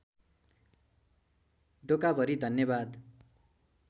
डोकाभरि धन्यवाद